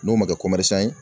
N'o ma kɛ ye